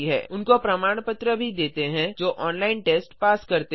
उन्हें प्रमाण पत्र भी देते हैं जो ऑनलाइन टेस्ट पास करते हैं